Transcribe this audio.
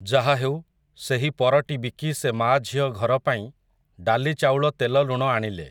ଯାହାହେଉ, ସେହି ପରଟି ବିକି ସେ ମାଆ ଝିଅ ଘରପାଇଁ, ଡ଼ାଲି ଚାଉଳ ତେଲ ଲୁଣ ଆଣିଲେ ।